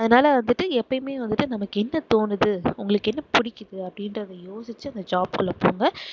அதனால வந்துட்டு எப்பயுமே வந்துட்டு நமக்கு என்ன தோணுது உங்களுக்கு என்ன புடிக்குது அப்படின்றதை யோசிச்சு அந்த job குள்ள போங்க